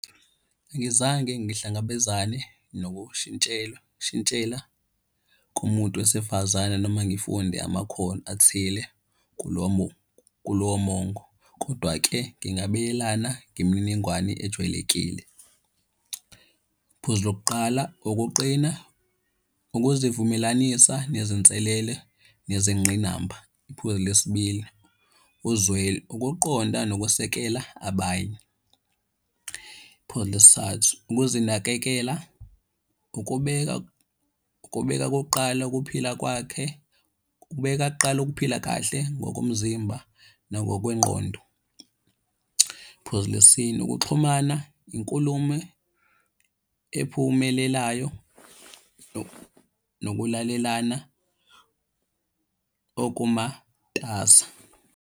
Angizange ngihlangabezane nokushintshelwa shintshela kushintshela kumuntu wesifazane noma ngifunde amakhono athile kulo mongo, kodwa-ke ngingabelana ngemininingwane ejwayelekile. Iphuzu lokuqala, ukuqina ukuzivumelanisa nezinselele nezingqinamba. Iphuzu lesibili, uzwe ukuqonda nokwesekela abanye. Iphuzu lesithathu, ukuzinakekela, ukubeka ukubeka kokuqala ukuphila kwakhe. Ukubeka kuqala ukuphila kahle ngokomzimba nangokwengqondo. Phuzu lesine ukuxhumana, yinkulumo ephumelelayo nokulalelana okumatasa.